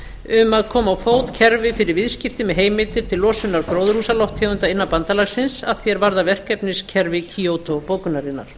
um að koma á fót kerfi fyrir viðskipti með heimildir til losunar gróðurhúsalofttegunda innan bandalagsins að því er varðar verkefniskerfi kyoto bókunarinnar